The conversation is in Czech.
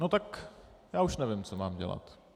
No tak já už nevím, co mám dělat.